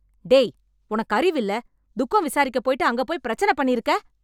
டேய் உனக்கு அறிவு இல்ல. துக்கம் விசாரிக்கப் போயிட்டு அங்கப் போய், பெரச்சன பண்ணிருக்க.